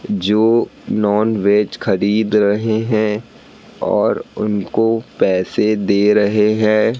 जो नॉनवेज खरीद रहे हैं और उनको पैसे दे रहे हैं।